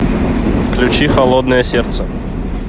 включи холодное сердце